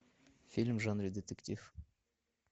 фильм в жанре детектив